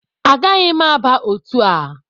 Agaghị m aba otu a